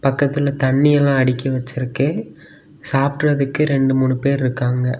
பக்கத்துல தண்ணி எல்லாம் அடுக்கி வச்சிருக்கு சாப்புடுறதுக்கு ரெண்டு மூணு பேரு இருக்காங்க.